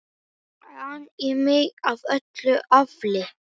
an í mig af öllu afli.